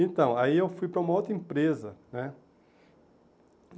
Então, aí eu fui para uma outra empresa né.